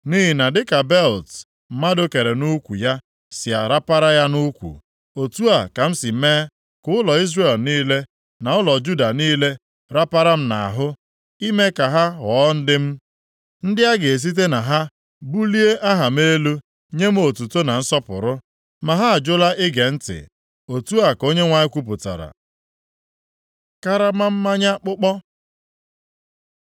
Nʼihi na dịka belịt mmadụ kere nʼukwu ya si arapara ya nʼukwu, otu a ka m si mee ka ụlọ Izrel niile, na ụlọ Juda niile rapara m nʼahụ,’ ime ka ha ghọọ ndị m, ndị a ga-esite na ha bulie aha m elu, nye m otuto na nsọpụrụ. Ma ha ajụla ige ntị.” Otu a ka Onyenwe anyị kwupụtara. Karama mmanya akpụkpọ